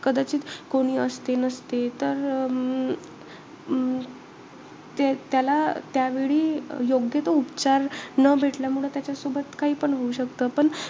कदाचित कोणी असते नसते. तर अं त्याला त्यावेळी योग्य तो उपचार न भेटल्यामुळे त्याच्यासोबत काहीपण होऊ शकतं. पण,